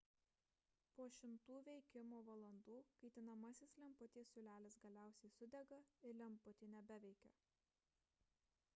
po šimtų veikimo valandų kaitinamasis lemputės siūlelis galiausiai sudega ir lemputė nebeveikia